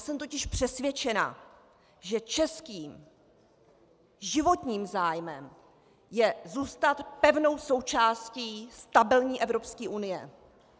Jsem totiž přesvědčená, že českým životním zájmem je zůstat pevnou součástí stabilní Evropské unie.